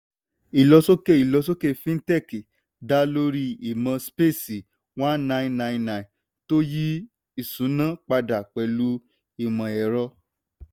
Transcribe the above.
ìlọsókè ìlọsókè fintech dá lórí imọ̀ space1999 tó yí ìṣúná padà pẹ̀lú imọ ẹrọ.